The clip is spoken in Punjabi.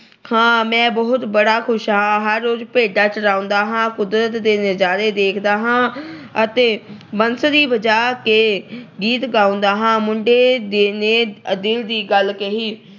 ਹਾਂ, ਮੈਂ ਬਹੁਤ ਬੜਾ ਖੁਸ਼ ਹਾਂ। ਹਰ ਰੋਜ ਭੇਡਾਂ ਚਰਾਉਂਦਾ ਆ। ਕੁਦਰਤ ਦੇ ਨਜਾਰੇ ਦੇਖਦਾ ਹਾਂ ਅਤੇ ਬੰਸਰੀ ਵਜਾ ਕੇ ਗੀਤ ਗਾਉਂਦਾ ਹਾਂ। ਮੁੰਡੇ ਦੇ ਅਹ ਨੇ ਦਿਲ ਦੀ ਗੱਲ ਕਹੀ।